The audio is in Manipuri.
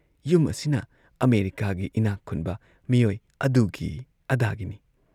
ꯌꯨꯝ ꯑꯁꯤꯅ ꯑꯃꯦꯔꯤꯀꯥꯒꯤ ꯏꯅꯥꯛ ꯈꯨꯟꯕ ꯃꯤꯑꯣꯏ ꯑꯗꯨꯒꯤ ꯑꯗꯥꯒꯤꯅꯤ